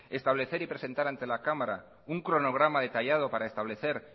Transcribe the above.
establecer y presentar ante la cámara un cronograma detallado para establecer